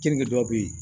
Keninke dɔw bɛ yen